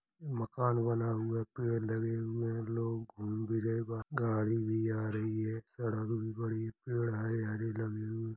मकान बना हुआ है पेड़ लगे हुए हैं। लोग घूम भी रह गाड़ी भी आ रही है। सड़क भी बड़ी है। पेड़ है हरी लगी हुए --